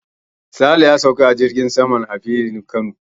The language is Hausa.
Sale ya sauka a filin jirgin saman Aminu Kano.